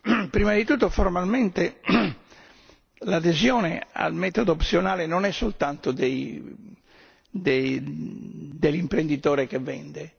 Prima di tutto, formalmente l'adesione al metodo opzionale non è soltanto dell'imprenditore che vende.